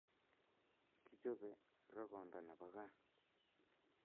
Kichope rokonda nepo kaa